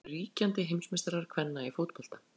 Hverjir eru ríkjandi heimsmeistarar kvenna í fótbolta?